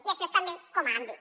i això és també com a àmbit